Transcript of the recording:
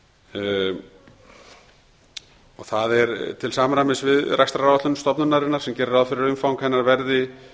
krónur það er til samræmis við rekstraráætlun stofnunarinnar sem gerir ráð fyrir að umfang hennar verði